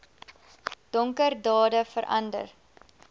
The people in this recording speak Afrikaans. donker dade verander